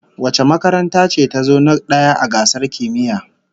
Wace makaranta ce tazo na daya a gasar kimiyya?